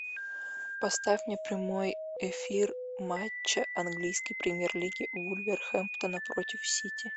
поставь мне прямой эфир матча английской премьер лиги вулверхэмптона против сити